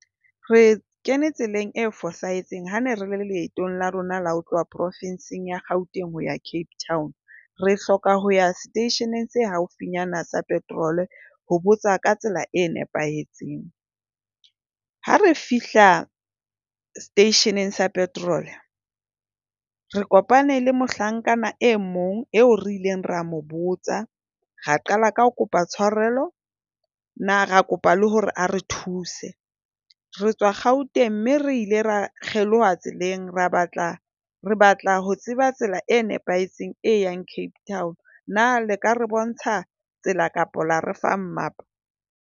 Re kene tseleng e fosahetseng hane re le leetong la rona la ho tloha profenseng ya Gauteng ho ya Cape Town. Re hloka ho ya seteisheneng sa haufinyana sa petrol ho botsa ka tsela e nepahetseng. Ha re fihla seteisheneng sa petrol re kopane le mohlankana e mong eo re ileng ra mo botsa. Ra qala ka ho kopa tshwarelo. Na ra kopa le hore ha re thuse. Re tswa Gauteng mme re ile ra kgeloha tseleng. Re batla re batla ho tseba tsela e nepahetseng e yang Cape Town. Na le ka re bontsha tsela, kapa la re fa mmapa?